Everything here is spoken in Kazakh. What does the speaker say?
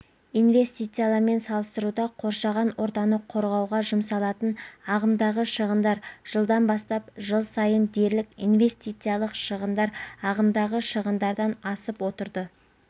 инвестициялармен салыстыруда қоршаған ортаны қорғауға жұмсалатын ағымдағы шығындар жылдан бастап жыл сайын дерлік инвестициялық шығындар ағымдағы шығындардан асып отырды